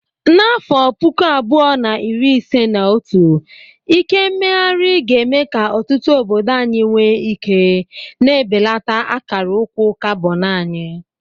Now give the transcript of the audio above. N'afọ puku abuo na iri ise na otu, ike mmeghari ga-eme ka ọtụtụ obodo anyị nwee ike, na-ebelata akara ụkwụ carbon anyị.